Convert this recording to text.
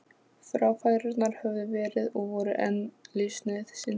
Fráfærurnar höfðu verið og voru enn lífsnauðsyn.